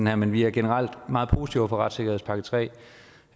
her men vi er generelt meget positive over for retssikkerhedspakke